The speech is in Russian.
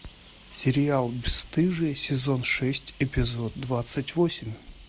сериал бесстыжие сезон шесть эпизод двадцать восемь